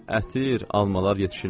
Ətir, almalar yetişirlər.